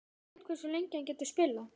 Hver veit hversu lengi hann getur spilað?